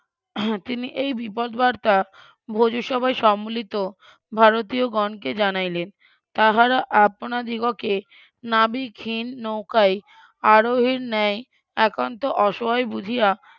তিনি এই বিপদবার্তা ভোজসভায় সম্মিলিত ভারতীয়গণকে জানাইলেন তাহারা আপনাদিগকে নাবিকহীন নৌকায় আরোহীর ন্যায় একান্ত অসহায় বুঝিয়া